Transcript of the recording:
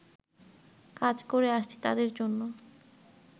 কাজ করে আসছি তাদের জন্য